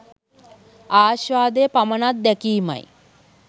ආශ්වාදය පමණක් දැකීමයි.